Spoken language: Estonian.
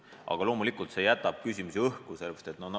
Aga loomulikult see jätab küsimusi õhku.